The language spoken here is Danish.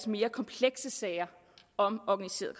mere komplekse sager om organiseret